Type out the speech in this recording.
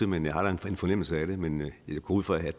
men har en fornemmelse af det men jeg går ud fra at